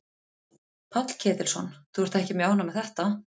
Páll Ketilsson: Þú ert ekki mjög ánægð með þetta?